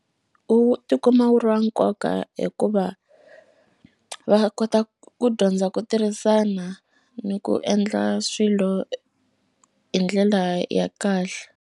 Wu tikuma wu ri wa nkoka hikuva va kota ku dyondza ku tirhisana ni ku endla swilo hi ndlela ya kahle.